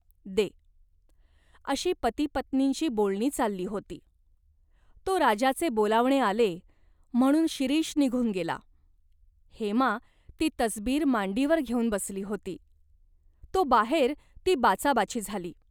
दे." अशी पतिपत्नींची बोलणी चालली होती, तो राजाचे बोलावणे आले म्हणून शिरीष निघून गेला. हेमा ती तसबीर मांडीवर घेऊन बसली होती, तो बाहेर ती बाचाबाची झाली.